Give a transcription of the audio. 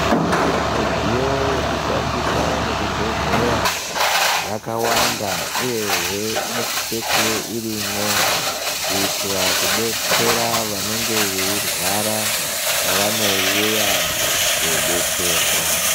Midziyo yekushandisa muzvibhedhlera yakawanda, uye he inosisa kuva irimo, kuitira kudetsera vanenge veirwara pavanouya kodetserwa.